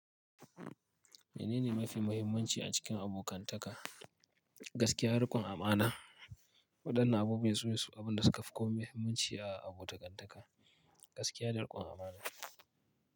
Menene mafi muhimmanci a cikin abokantaka? Gaskiya, riƙon amana. Waɗannan abubuwan sune abin da suka fi komai muhimmanci a abokantaka, gaskiya da riƙon amana.